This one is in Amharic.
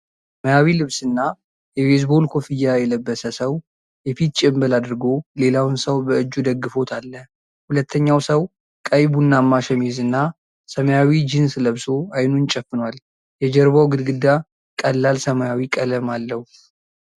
ሰማያዊ ልብስና የቤዝቦል ኮፍያ የለበሰ ሰው የፊት ጭምብል አድርጎ ሌላውን ሰው በእጁ ደግፎት አለ። ሁለተኛው ሰው ቀይ ቡናማ ሸሚዝና ሰማያዊ ጂንስ ለብሶ አይኑን ጨፍኗል። የጀርባው ግድግዳ ቀላል ሰማያዊ ቀለም አለው።